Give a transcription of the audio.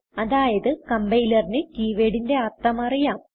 അതായത് കംപൈലറിന് keywordന്റെ അർത്ഥം അറിയാം